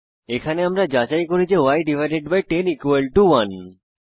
এখানে আমরা যাচাই করি যে ই10 1